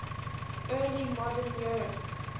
early modern europe